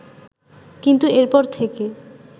কিন্তু এরপর থেকে